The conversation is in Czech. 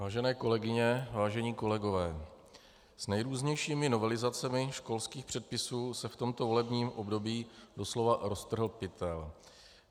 Vážené kolegyně, vážení kolegové, s nejrůznějšími novelizacemi školských předpisů se v tomto volebním období doslova roztrhl pytel.